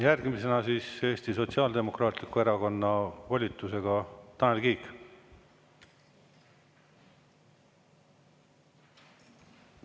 Järgmisena Eesti Sotsiaaldemokraatliku Erakonna volitusega Tanel Kiik.